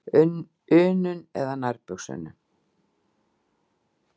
unum eða nærbuxunum.